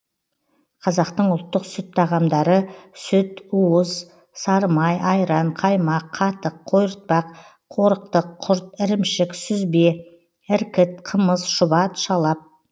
қазақтың ұлттық сүт тағамдары сүт уыз сары май айран қаймақ қатық қойыртпақ қорықтық құрт ірімшік сүзбе іркіт қымыз шұбат шалап